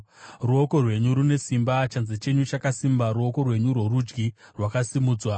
Ruoko rwenyu rune simba; chanza chenyu chakasimba, ruoko rwenyu rworudyi rwakasimudzwa.